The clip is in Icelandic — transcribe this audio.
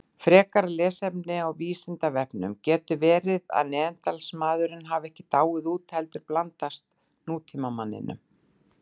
Frekara lesefni á Vísindavefnum: Getur verið að Neanderdalsmaðurinn hafi ekki dáið út heldur blandast nútímamanninum?